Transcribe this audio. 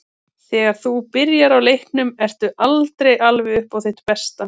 Þegar þú byrjar í leiknum ertu aldrei alveg upp á þitt besta.